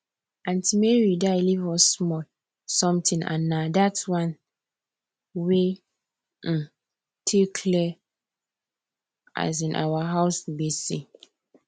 aunty mary die leave us small something and na that one we um take clear um our house gbese